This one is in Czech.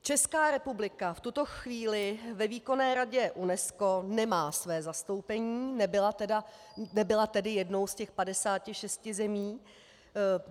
Česká republika v tuto chvíli ve Výkonné radě UNESCO nemá své zastoupení, nebyla tedy jednou z těch 56 zemí.